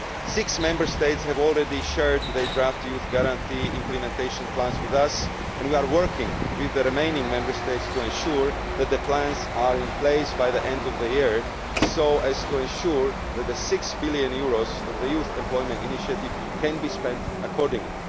Six Member States have already shared their draft Youth Guarantee implementation plans with us and we are working with the remaining Member States to ensure that the plans are in place by the end of the year so as to ensure that the EUR 6 billion of the Youth Initiative can be spent accordingly.